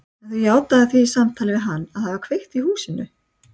En þú játaðir því í samtali við hann að hafa kveikt í húsinu.